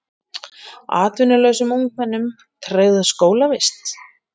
Atvinnulausum ungmennum tryggð skólavist